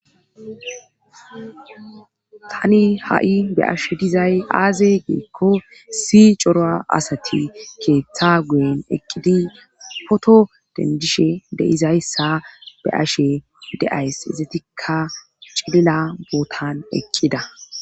Tani ha'i be ashe dizay aaze giikko si coroa asati keeththa guyen eqqidi poto dendishe deizayssa be ashe de'ays izatikka cilila bootan ekkida